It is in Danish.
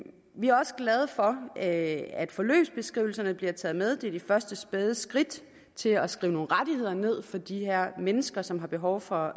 vi er også glade for at at forløbsbeskrivelserne bliver taget med det er de første spæde skridt til at skrive nogle rettigheder ned for de her mennesker som har behov for